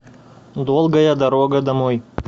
долгая дорога домой